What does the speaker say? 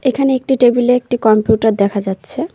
এখানে একটি টেবিল -এ একটি কম্পিউটার দেখা যাচ্ছে।